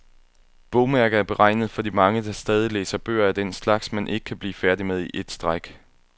Bogmærker er beregnet for de mange, der stadig læser bøger af den slags, man ikke kan blive færdig med i et stræk.